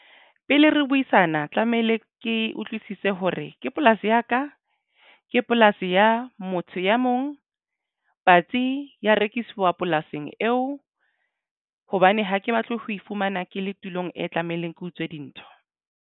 Pele re buisana tlamehile ke utlwisise hore ke polasi ya ka ke polasi ya motho ya mong patsi ya rekiswa polasing eo. Hobane ha ke batle ho iphumana ke le tulong e tlamehileng ke utswe dintho.